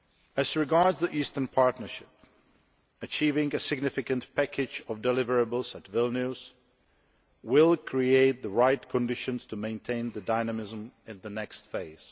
As regards the Eastern Partnership, achieving a significant package of deliverables at Vilnius will create the right conditions to maintain dynamism in the next phase.